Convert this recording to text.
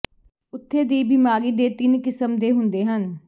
ਉੱਥੇ ਦੀ ਬਿਮਾਰੀ ਦੇ ਤਿੰਨ ਕਿਸਮ ਦੇ ਹੁੰਦੇ ਹਨ